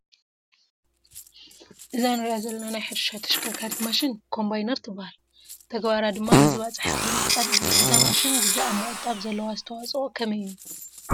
እዛ ንሪኣ ዘለና ናይ ሕርሻ ተሽከርካሪት ማሽን ኮምባይነር ትበሃል፡፡ ተግባራ ድማ ንዝባፅሐ እኽሊ ምዕፃድ እዩ፡፡ እዛ ማሽን ግዜ ኣብ ምቑጣብ ዘለዋ ኣስተዋፅኦ ከመይ እዩ?